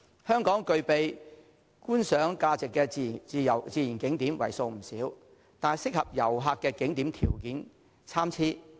香港具備觀賞價值的自然景點為數不少，但適合旅客的景點條件參差。